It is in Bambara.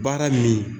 Baara min